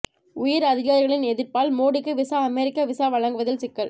உயர் அதிகாரிகளின் எதிர்ப்பால் மோடிக்கு விசா அமெரிக்கா விசா வழங்குவதில் சிக்கல்